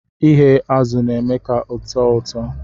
Ighe azu na eme ka ọtọ ụtọ.